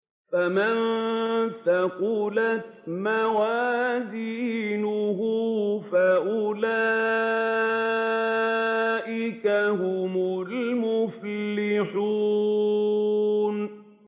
فَمَن ثَقُلَتْ مَوَازِينُهُ فَأُولَٰئِكَ هُمُ الْمُفْلِحُونَ